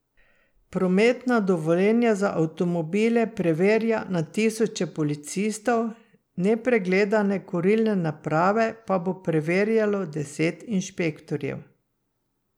Prometna dovoljenja za avtomobile preverja na tisoče policistov, nepregledane kurilne naprave pa bo preverjalo deset inšpektorjev.